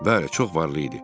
Bəli, çox varlı idi.